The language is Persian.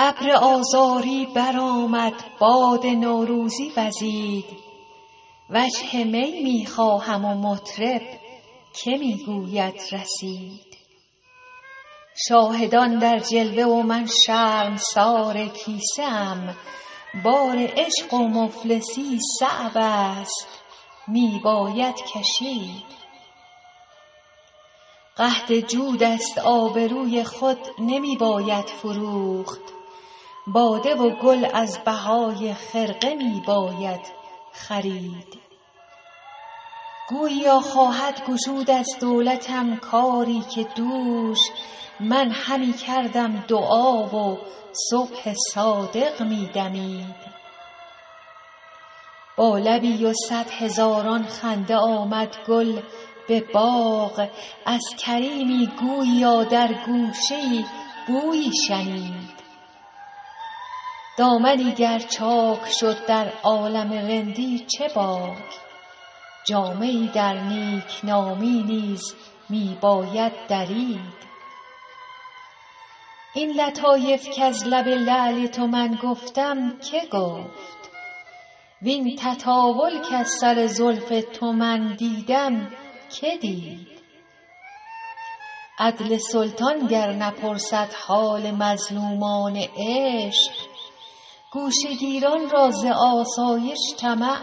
ابر آذاری برآمد باد نوروزی وزید وجه می می خواهم و مطرب که می گوید رسید شاهدان در جلوه و من شرمسار کیسه ام بار عشق و مفلسی صعب است می باید کشید قحط جود است آبروی خود نمی باید فروخت باده و گل از بهای خرقه می باید خرید گوییا خواهد گشود از دولتم کاری که دوش من همی کردم دعا و صبح صادق می دمید با لبی و صد هزاران خنده آمد گل به باغ از کریمی گوییا در گوشه ای بویی شنید دامنی گر چاک شد در عالم رندی چه باک جامه ای در نیکنامی نیز می باید درید این لطایف کز لب لعل تو من گفتم که گفت وین تطاول کز سر زلف تو من دیدم که دید عدل سلطان گر نپرسد حال مظلومان عشق گوشه گیران را ز آسایش طمع